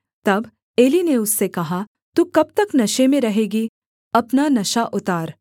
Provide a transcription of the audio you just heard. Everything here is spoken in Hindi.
तब एली ने उससे कहा तू कब तक नशे में रहेगी अपना नशा उतार